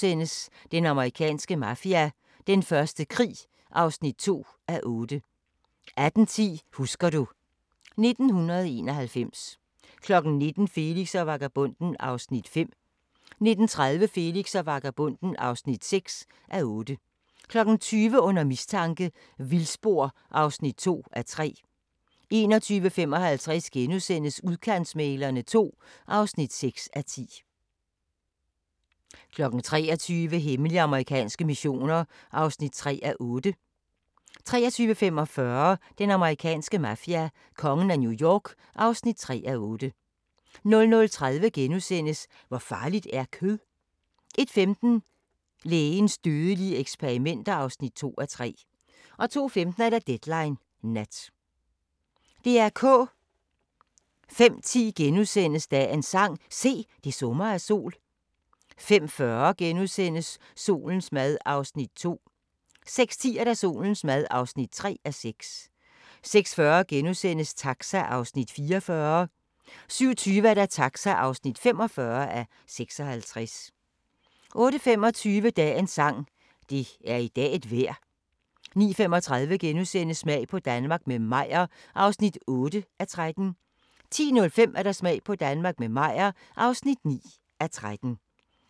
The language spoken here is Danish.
05:10: Dagens sang: Se, det summer af sol * 05:40: Solens mad (2:6)* 06:10: Solens mad (3:6) 06:40: Taxa (44:56)* 07:20: Taxa (45:56) 08:25: Dagens sang: Det er i dag et vejr 09:35: Smag på Danmark – med Meyer (8:13)* 10:05: Smag på Danmark – med Meyer (9:13) 10:35: Kongehuset (3:10)* 11:05: Kongehuset (4:10)